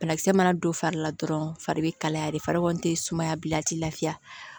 Banakisɛ mana don fari la dɔrɔn fari bɛ kalaya de fari tɛ sumaya bilen a tɛ lafiya